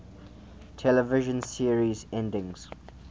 television series endings